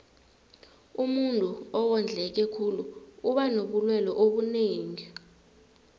umuntuu owondleke khulu uba nobulelwe obunengi